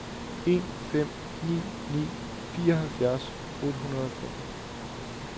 en fem ni ni fireoghalvfjerds otte hundrede og fem